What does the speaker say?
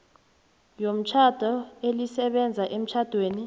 yomtjhado elisebenza emtjhadweni